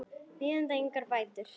bíðandi engar bætur.